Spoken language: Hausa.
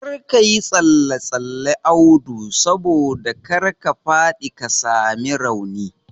Kar kayi tsalle tsalle Audu saboda kar ka faɗi ka sami rauni